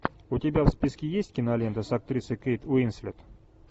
у тебя в списке есть кинолента с актрисой кейт уинслет